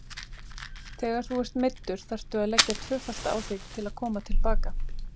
Þegar þú ert meiddur þarftu að leggja tvöfalt á þig til að koma til baka.